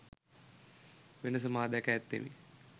වෙනස මා දැක ඇත්තෙමි